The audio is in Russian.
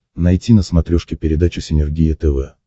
найти на смотрешке передачу синергия тв